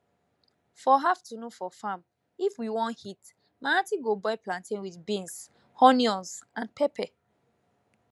for afternoon for farm if we won eat my aunty go boil plantain with beans onions and pepper